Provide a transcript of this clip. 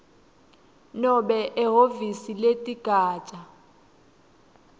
nobe ehhovisi leligatja